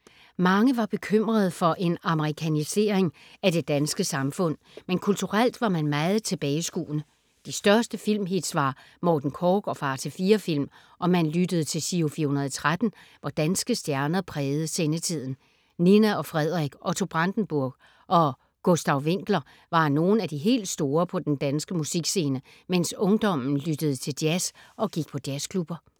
Mange var bekymrede for en amerikanisering af det danske samfund, men kulturelt var man meget tilbageskuende. De største filmhits var Morten Korch og Far til fire-film og man lyttede til Giro 413, hvor danske stjerner prægede sendetiden. Nina og Frederik, Otto Brandenburg og Gustav Winckler var nogle af de helt store på den danske musikscene, mens ungdommen lyttede til jazz og gik på jazzklubber.